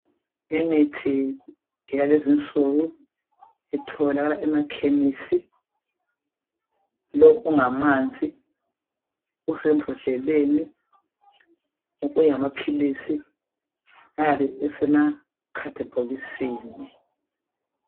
Imithi yalezinsuku itholakala emakhemisi, lo ungamanzi usembodleleni okunye ngamaphilisi ayabe esemakhadibhokisini.